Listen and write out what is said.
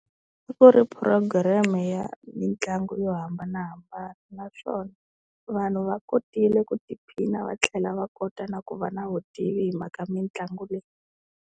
A ku ri program ya mitlangu yo hambanahambana naswona vanhu va kotile ku tiphina va tlhela va kota na ku va na vutivi hi mhaka mitlangu leyi.